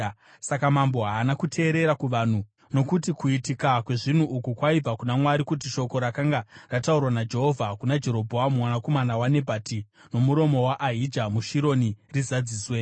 Saka mambo haana kuteerera kuvanhu, nokuti kuitika kwezvinhu uku kwaibva kuna Mwari, kuti shoko rakanga rataurwa naJehovha kuna Jerobhoamu mwanakomana waNebhati nomuromo waAhija muShironi rizadziswe.